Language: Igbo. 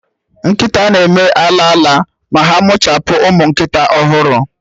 Nkịta na-eme ala ala ma ha mụchapụ ụmụ nkịta ọhụrụ